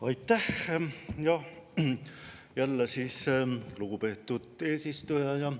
Aitäh, lugupeetud eesistuja!